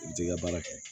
I t'i ka baara kɛ